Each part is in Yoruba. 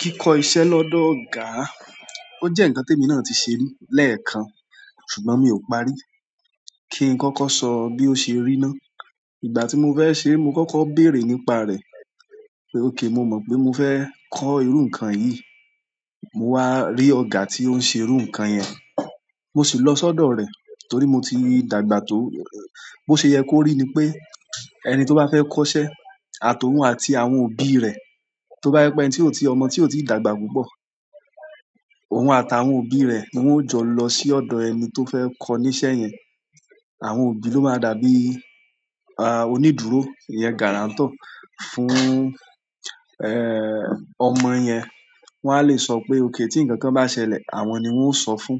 Kíkó iṣẹ́ lọ́dọ̀ ọ̀gá, ó jẹ́ nǹkan tí èmi náà ti ṣe lẹ́ẹ̀kan ṣùgbọ́n mi ò parí kí n kọ́kọ́ sọ bí ó ṣe ríná. Ìgbà tí mo fẹ́ ṣe, mo kọ́kọ́ béèrè nípa rẹ̀ pé òkay mo mọ̀ pé mo fẹ́ kọ́ irú nǹkan yìí. Mo wá rí ọ̀gá tí ó ń ṣe irú nǹkan yẹn, mo sì lọ sọ́dọ̀ rẹ̀ torí mo ti dàgbà tó. Bo ṣe yẹ kó rí ni pé ẹni tí ó bá fẹ́ kọ́ iṣẹ́ àtọhún àti àwọn òbí rẹ̀, tó bá jẹ́ pé ẹni tí ò tíì ọmọ tí ò tíì dàgbà púpọ̀, òun àtàwọn òbí rẹ̀ ni wọ́n ó jọ lọ sí ọ̀dọ̀ ẹni tó fẹ́ kọ́ ní iṣẹ́ yẹn. Àwọn òbí ló máa dàbí, ah, onídùúró, iyen guarantor fún, ẹ́ẹ́, ọmọ yẹn. Wọn a lè sọ pé òkay tí ǹkan kan bá ṣẹlẹ̀, àwọn ni wọ́n ó sọ fún,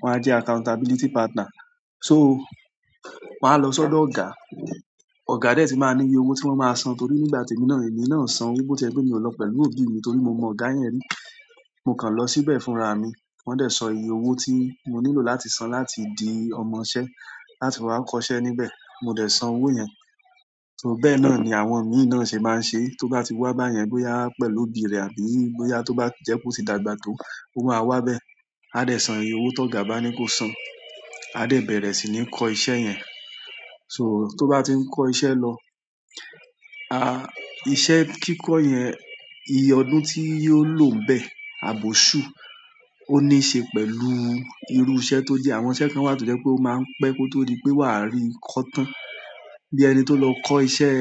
wọ́n á jẹ́ accountability partner. So, màá lọ sọ́dọ̀ ọ̀gá, ọ̀gá dẹ̀ ti máa ní iye owó tí wọ́n máa san torí nígbà tí èmi náà, èmi náà san owó tó jẹ́ pé mi ò lọ pẹ̀lú òbí mi torí mo mọ ọ̀gá yẹn rí. Mo kàn lọ síbẹ̀ fúnra mi, wọ́n dẹ̀ sọ iye owó tí mo nílò láti san láti di ọmọṣẹ́ láti wá kọ́ iṣẹ́ níbẹ̀. Mo dẹ̀ san owó yẹn. So bẹ́ẹ̀ náà ni àwọn mí náà ṣe máa ń ṣe. Tó bá ti wá báyẹn bóyá pẹ̀lú òbí rẹ̀ àbí bóyá tó bá jẹ́ pé ó ti dàgbà tó, ó máa wá bẹ́ẹ̀. A dẹ̀ san iye owó tó ga bá ni kó san. A dẹ̀ bẹ̀rẹ̀ sì ni kọ́ iṣẹ́ yẹn. So tó bá ti ń kọ́ iṣẹ́ lọ, a, iṣẹ́ kíkọ́ yẹn, iye ọdún tí yóò lòò bẹ́ẹ̀ àbòṣú ó níṣe pẹ̀lú irú iṣẹ́ tó jẹ́. Àwọn iṣẹ́ kan wà tó jẹ́ pé ó máa ń pẹ́ kó tó rí pé wàá rí kọ́ tán. Bi ẹni to lo ko iṣẹ́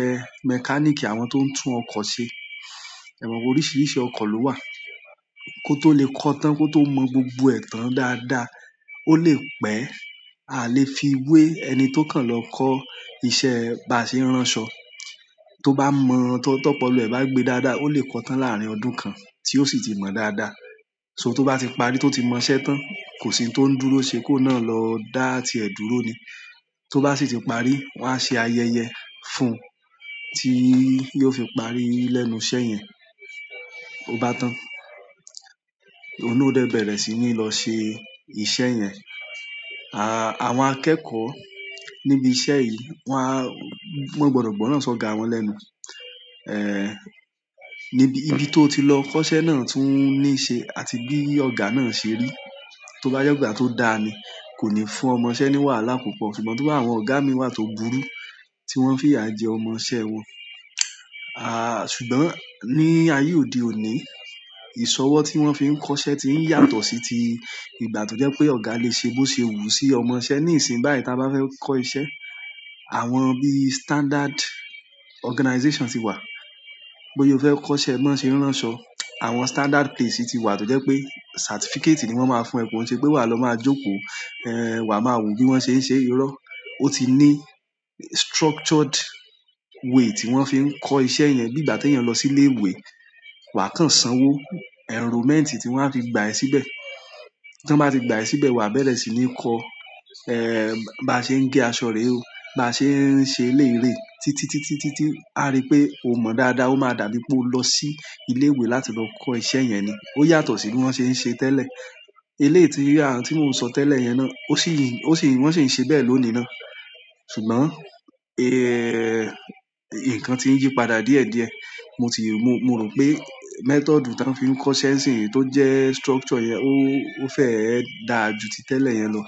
mechanic àwọn ti o n tun oko se. Ẹ̀wọ̀n oríṣiríṣi ọkọ̀ ló wà. Kó tó lè kọ́ tán, kó tó mọ gbogbo ẹ̀tàn dáadáa, ó lè pẹ́. A lè fi wé ẹni tó kàn lọ kọ́ iṣẹ́ baṣeránṣọ. Tó bá mọ ohun tó pọ̀lo ẹ̀ bá gbe dáadáa, ó lè kọ́ tán láàárín ọdún kan tí ó sì ti mọ dáadáa. So tó bá ti parí tó ti mọ iṣẹ́ tán, kò sì ń tó ń dúró ṣe kó náà lọ dá tí ẹ dúró ni. To ba si ti paari won a se ayẹyẹ fún ti yóò fi parí lẹ́nu iṣẹ́ yen. Ó bá tán, òun náà ò dẹ̀ bẹ̀rẹ̀ sì ní lọ ṣe iṣẹ́ yẹn. A, àwọn akẹ́kọ̀ọ́ níbi iṣẹ́ yìí wọ́n á, wọ́n gbọdọ̀ gbọ́ran sọ ọ̀gá wọn lẹ́nu. Níbi, níbi tó ti lọ kọ́ iṣẹ́ náà tún níṣe àti bí ọ̀gá náà ṣe rí. Tó bá je ìgbà tó dáa ni, kò ní fún ọmọṣẹ́ ní wàhálà púpọ̀ ṣùgbọ́n tó bá wọ́n ọ̀gá mi wà tó burú tí wọ́n fi à jẹ ọmọṣẹ́ wọn. A, ṣùgbọ́n ní ayé òde òní, ìṣọwọ́ tí wọ́n fi ń kọ́ iṣẹ́ tí ń yàtọ̀ sí ti ìgbà tó jẹ́ pé ọ̀gá lè ṣe bó ṣe wù sí ọmọṣẹ́. Ní ìsìn báyìí tí a bá fẹ́ kọ́ iṣẹ́, àwọn bí standard organization ti wà. Bóyá o fẹ́ kọ́ iṣẹ́ bo sen ránṣọ, àwọn standard place ti wà tó jẹ́ pé certificate ni wọ́n máa fún ẹ. Ko n se pe wa maa jókòó e wa maa wo bi won se n se. Ó ti ní structured way tí wọ́n fi ń kọ́ iṣẹ́ yẹn. Bí ìgbà tí eeyanlọ sí ilé ìwé, wà á kàn san owó enrollment tí wọ́n á fi gbà ẹ síbẹ̀. Tí wọ́n bá ti gbà ẹ síbẹ̀, wà á bẹ̀rẹ̀ sì ní kọ́, ẹ́ẹ́, bá ṣe ń gé aṣọ rè o, bá ṣe ń ṣe eleyiirée. Títítí tí a rí pé o mọ dáadáa, ó máa dàbí pé o lọ sí ilé ìwé láti lọ kọ́ iṣẹ́ yẹn ni. Ó yàtọ̀ sí bí wọ́n ṣe ń ṣe tẹ́lẹ̀. Eleyii ti a n ti mo n so tele yen náà o si n won si n se beyen lónìí náà. Ṣùgbọ́n, ẹ́ẹ́, ǹkan ti ń yí padà díẹ̀díẹ̀. Mo ti rí, mo, mo rò pé method tí wọ́n fi ń kọ́ iṣẹ́ nsìnyìí tó jẹ́ structure yẹn ó, ó fẹ́ dà ju ti tẹ́lẹ̀ yẹn lọ.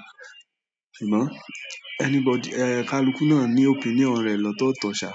Ṣùgbọ́n, anybody, ẹ, kaluku náà ní opinion rẹ̀ lọ́tọ̀ọ̀tọ̀ ṣà.